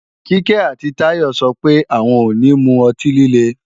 Kíkẹ́ àti Táyọ sọ pé, àwọn ò ní mu ọtí líle